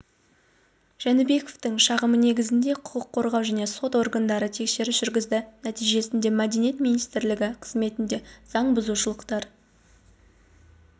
жәнібековтың шағымы негізінде құқық қорғау және сот органдары тексеріс жүргізді нәтижесінде мәдениет министрлігі қызметінде заң бұзушылықтар